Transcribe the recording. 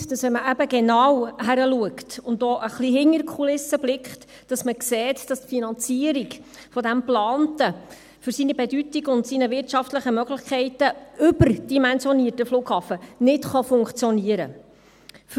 Ich bin überzeugt, dass wenn man eben genau hinschaut und auch ein bisschen hinter die Kulissen blickt, dass man sieht, dass die Finanzierung dieses geplanten, für seine Bedeutung und für seine wirtschaftlichen Möglichkeiten überdimensionierten Flughafens nicht funktionieren kann.